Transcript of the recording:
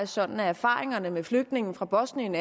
sådan at erfaringerne med flygtninge fra bosnien